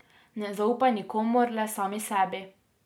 Ne zaupaj nikomur, le sami sebi.